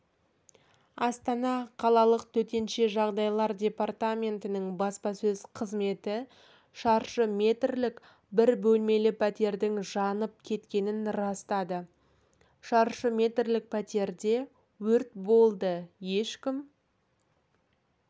астана қалалық төтенше жағдайлар департаментінің баспасөз қызметі шаршы метрлік бір бөлмелі пәтердің жанып кеткенін растады шаршы метрлік пәтерде өрт болды ешкім